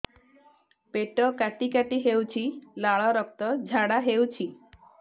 ପେଟ କାଟି କାଟି ହେଉଛି ଲାଳ ରକ୍ତ ଝାଡା ହେଉଛି